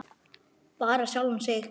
Bara sjálfan sig.